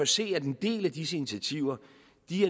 se at en del af disse initiativer